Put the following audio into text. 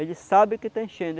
Ele sabe que está enchendo.